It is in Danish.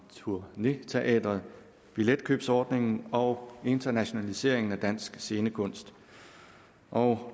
turné teatret billetkøbsordningen og internationaliseringen af dansk scenekunst og